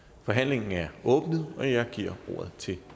forhandlingen er åbnet og jeg giver ordet til